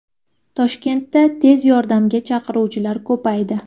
Toshkentda tez yordamga chaqiruvlar ko‘paydi.